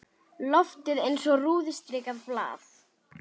Loftið eins og rúðustrikað blað.